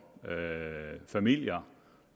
familier